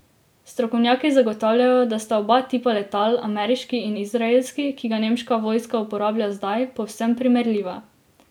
Strokovnjaki zagotavljajo, da sta oba tipa letal, ameriški in izraelski, ki ga nemška vojska uporablja zdaj, povsem primerljiva.